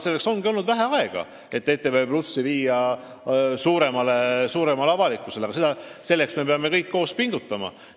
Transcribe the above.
Meil on olnud vähe aega selleks, et seda rohkem avalikkuseni viia, ja me peame kõik koos pingutama.